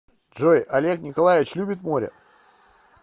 джой олег николаевич любит море